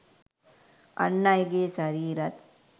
අන් අයගේ ශරීරත්